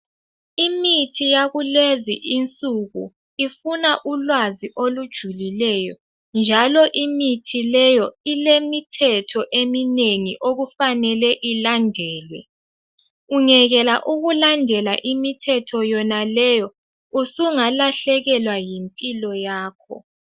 imithi yakulezi insuku ifuna ulwazi olujulileyo njalo imithi leyo ilemithetho eminengi okufanelwe ilandelwe ungekela ukulandela imithetho yonaleyo usungalahlekelwa yimpilo yakho